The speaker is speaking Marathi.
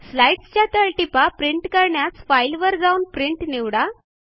स्लाईडसच्या तळटीपा प्रिंट करण्यास फाईलवर जाऊन प्रिंट निवडा